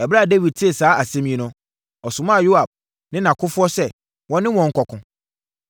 Ɛberɛ a Dawid tee saa asɛm yi no, ɔsomaa Yoab ne nʼakofoɔ sɛ wɔne wɔn nkɔko.